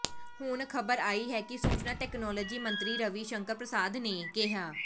ਹੁਣ ਖਬਰ ਆਈ ਹੈ ਕਿ ਸੂਚਨਾ ਤਕਨਾਲੋਜੀ ਮੰਤਰੀ ਰਵੀ ਸ਼ੰਕਰ ਪ੍ਰਸਾਦ ਨੇ ਕਿਹਾ